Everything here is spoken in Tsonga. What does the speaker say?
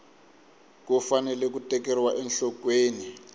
ku fanele ku tekeriwa enhlokweni